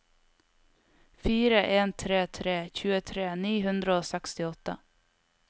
fire en tre tre tjuetre ni hundre og sekstiåtte